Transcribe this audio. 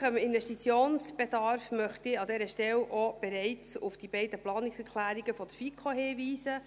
Bezüglich des möglichen Investitionsbedarfs möchte ich an dieser Stelle auch bereits auf die beiden Planungserklärungen der FiKo hinweisen.